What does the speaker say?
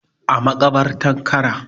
A makabartar Kara